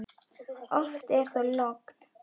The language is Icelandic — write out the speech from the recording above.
Oft er þó logn.